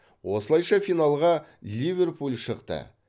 осылайша финалға ливерпуль шықты